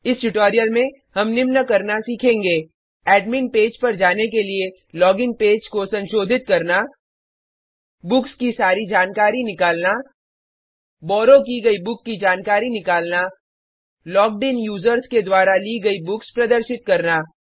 इस ट्यूटोरियल में हम निम्न करना सीखेंगे एडमिन पेज पर जाने के लिए लोगिन पेज को संशोधित करना बुक्स की सारी जानकारी निकलना बॉरो की गयी बुक की जानकारी निकलना लॉग्ड इन यूज़र्स के द्वारा ली गयी बुक्स प्रदर्शित करना